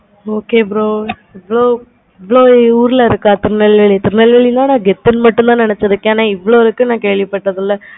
okay bro so ஊருல இருக்க திருநெல்வேலி ல இருக்க திருநெல்வேலில நா கெத்து மட்டும் தான் நினச்சேன். இவ்வளோ இருக்கு கேள்வி பாடலை